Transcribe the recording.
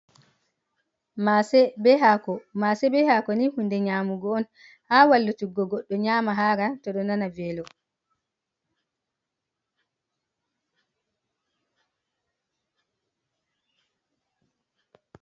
Mase be hako, Mase bee hako ni ɗum hunde nyamugo on ha wallutuggo godɗo nyama hara to ɗon nana veelo.